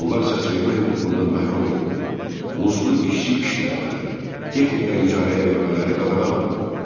Onlar səsvermə hüququndan məhrum edildi, muzlu işçi işlətmələri, texnika icarəyə vermələri qadağan olundu.